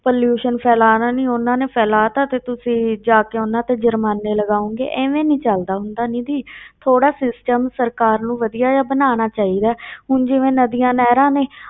Pollution ਫੈਲਾਉਣਾ ਨੀ, ਉਹਨਾਂ ਨੇ ਫੈਲਾ ਦਿੱਤਾ ਤੇ ਤੁਸੀਂ ਜਾ ਕੇ ਉਹਨਾਂ ਤੇ ਜ਼ੁਰਮਾਨੇ ਲਗਾਓਂਗੇ, ਇਵੇਂ ਨੀ ਚੱਲਦਾ ਹੁੰਦਾ ਨਿੱਧੀ ਥੋੜ੍ਹਾ system ਸਰਕਾਰ ਨੂੰ ਵਧੀਆ ਜਿਹਾ ਬਣਾਉਣਾ ਚਾਹੀਦਾ ਹੈ ਹੁਣ ਜਿਵੇਂ ਨਦੀਆਂ ਨਹਿਰਾਂ ਨੇ,